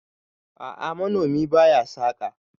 a'a manomi ba ya saka